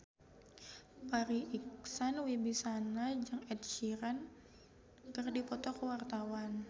Farri Icksan Wibisana jeung Ed Sheeran keur dipoto ku wartawan